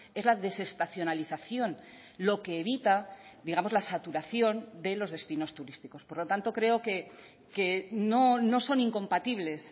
es la desestacionalización lo que evita digamos la saturación de los destinos turísticos por lo tanto creo que no son incompatibles